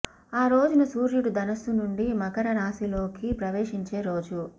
ఆ రోజున సూర్యుడు ధనస్సు నుండి మకర రాశిలోకి ప్రవేశించే రోజు